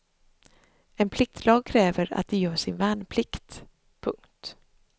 En pliktlag kräver att de gör sin värnplikt. punkt